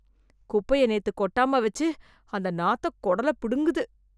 குப்பைய நேத்து கொட்டாம வெச்சு அந்த நாத்தம் கூடல பிடுங்குது